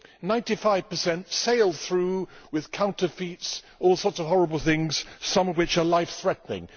Ninety five percent sail through with counterfeit goods and all sorts of horrible things, some of which are life threatening.